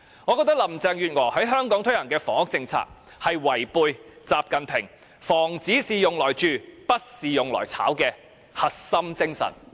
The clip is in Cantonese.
我覺得林鄭月娥在香港推行的房屋政策，是違背習近平"房子是用來住的，不是用來炒"的核心精神。